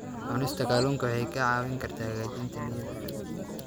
Cunista kalluunka waxay kaa caawin kartaa hagaajinta niyadda.